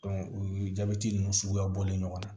u ye jabɛti nunnu suguya bɔlen ɲɔgɔn na